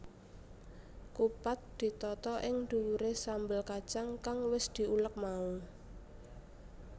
Kupat ditata ing dhuwuré sambel kacang kang wis diulek mau